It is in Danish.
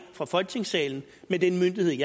fra folketingssalen med den myndighed